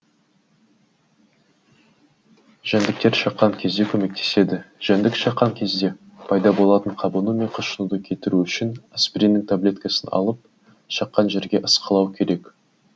жәндіктер шаққан кезде көмектеседі жәндік шаққан кезде пайда болатын қабыну мен қышынуды кетіру үшін аспириннің таблеткасын алып шаққан жерге ысқылау керек